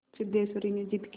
सिद्धेश्वरी ने जिद की